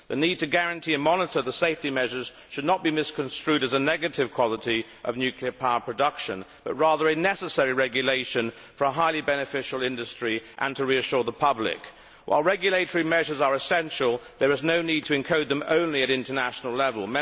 The need to guarantee and monitor safety measures should not be misconstrued as a negative quality of nuclear power production, but rather a necessary regulation for a highly beneficial industry and to reassure the public. While regulatory measures are essential, there is no need to encode them only at international level.